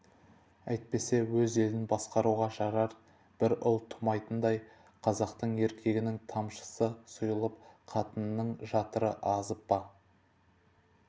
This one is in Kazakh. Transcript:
әйтпесе өз елін басқаруға жарар бір ұл тумайтындай қазақтың еркегінің тамшысы сұйылып қатынының жатыры азып па